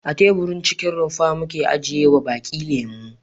A teburin cikin rumfa muke ajiyewa baki lemo.